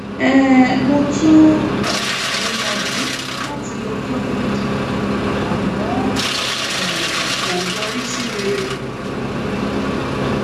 um mo tún um gbìyànjú láti lo clomid àmọ um kò yọrí sí rere